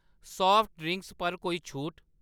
Soft drinks पर कोई छूट ?